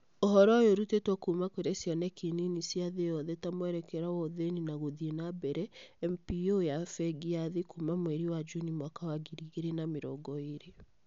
Ũhoro ũyũ ũrutĩtwo kuuma kũrĩ ciioneki nini cia thĩ yothe ta Mwerekera wa Ũthĩni na Gũthiĩ na Mbere(MPO) ya Bengi ya Thĩ kuuma mweri wa Juni mwaka wa ngiri igĩrĩ na mĩrongo ĩĩrĩ.